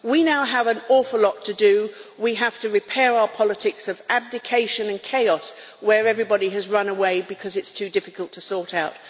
We now have an awful lot to do we have to repair our politics of abdication and chaos, where everybody has run away because it's too difficult to sort out.